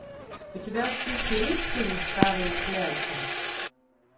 у тебя в списке есть фильм старые клячи